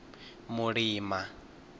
mulima